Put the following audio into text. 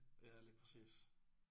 Ja lige præcis